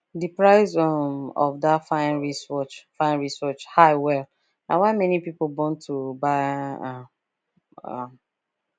the price um of that fine wristwatch fine wristwatch high well na why many people bone to buy um am